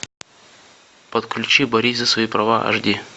подключи борись за свои права аш ди